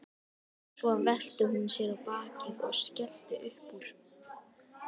Svo velti hún sér á bakið og skellti upp úr.